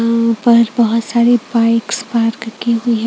उम्म ऊपर बहुत सारी बाइक्स पार्क की हुई है।